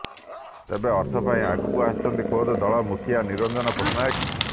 ତେବେ ଅର୍ଥ ପାଇଁ ଆଗକୁ ଆସିଛନ୍ତି ଖୋଦ ଦଳର ମୁଖିଆ ନିରଞ୍ଜନ ପଟ୍ଟନାୟକ